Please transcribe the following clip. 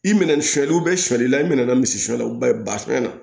I minɛ sonyali sɔli la i min nana misiyɔ la ba i basɛn na